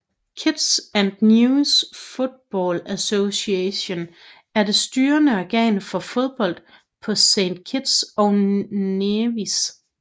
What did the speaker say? Kitts and Nevis Football Association er det styrende organ for fodbold på Saint Kitts og Nevis